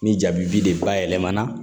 Ni ja bi de bayɛlɛmana